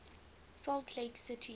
salt lake city